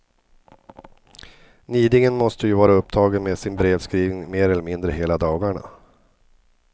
Nidingen måste ju vara upptagen med sin brevskrivning mer eller mindre hela dagarna.